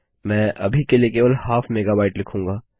मैंने अभी के लिए केवल हाफ मेगाबाइट लिखूँगा